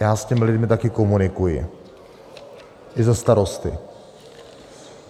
Já s těmi lidmi taky komunikuji, i za Starosty.